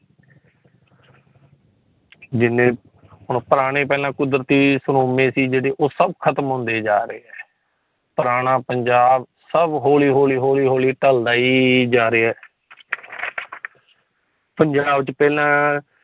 ਜਿਨ੍ਹਾਂ ਕਿ ਪੁਰਾਣੇ ਪਹਿਲੇ ਕੁਦਰਤੀ ਸਰੋਮੇ ਹੀ ਜੇੜੇ ਉਹ ਸਬ ਖ਼ਤਮ ਹੁੰਦੇ ਜਾ ਰਹੀਏ ਪੁਰਾਣਾ ਪੰਜਾਬ ਸਬ ਹੋਲੀ ਹੋਲੀ ਹੋਲੀ ਹੋਲੀ ਟਾਲਦਾ ਹੀਹੀ ਜਾਂ ਰਹੀਆਂ ਪੰਜਾਬ ਚ ਪਹਿਲਾ